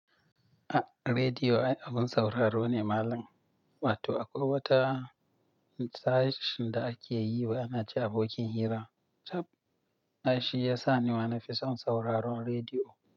A, rediyo abun sauraro ne malam. Wato akwai wata tashar da ake yi wai ana ce abokin hira. Cab! Ai shi yasa nima nafi son sauraron rediyo.